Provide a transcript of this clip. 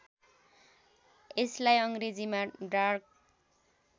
यसलाई अङ्ग्रेजीमा डार्क